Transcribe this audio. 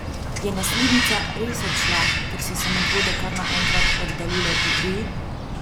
Je naslednica res odšla, ker so se Medvode kar naenkrat oddaljile Idriji?